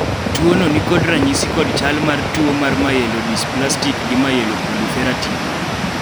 Tuono ni kod ranyisi kod chal ma tuo mar myelodysplastic gi myeloproliferative